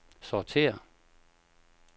sortér